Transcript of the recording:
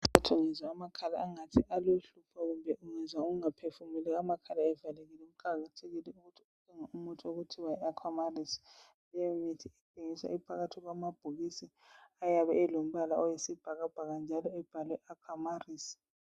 Ungezwa amakhala angithi alohlupho kumbe ungezwa ungaphefumuli amakhala evalekile ukwazi ukuthi kumele udinge umuthi okuthiwa yi alAqua Maris. Leyo mithi ithengiswa iphakathi kwamabhokisi ayisibhakabhaka njalo abhalwe ukuthi Aqua Maris.